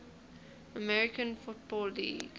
american football league